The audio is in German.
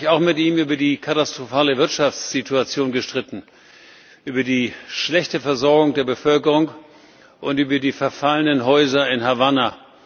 Aber ich habe mich auch mit ihm über die katastrophale Wirtschaftssituation gestritten, über die schlechte Versorgung der Bevölkerung und über die verfallenen Häuser in Havanna.